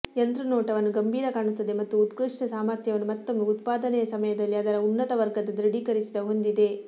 ಯಂತ್ರ ನೋಟವನ್ನು ಗಂಭೀರ ಕಾಣುತ್ತದೆ ಮತ್ತು ಉತ್ಕೃಷ್ಟ ಸಾಮರ್ಥ್ಯವನ್ನು ಮತ್ತೊಮ್ಮೆ ಉತ್ಪಾದನೆಯ ಸಮಯದಲ್ಲಿ ಅದರ ಉನ್ನತ ವರ್ಗದ ದೃಢೀಕರಿಸಿದ ಹೊಂದಿದೆ